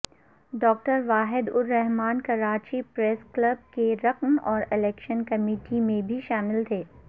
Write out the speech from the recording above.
doctor Waheed Ur Rahman Karachi press club کے رکن اور الیکشن کمیٹی میں بھی شامل تھے